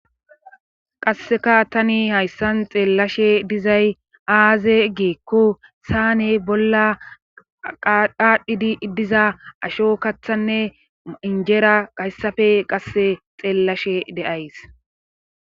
qasseka tani hayssan xeellashe dizay aaze geekko saane bolla dhaadhdhidi diza asho kathanne injeera gayssafe qasse xeellashe de7ays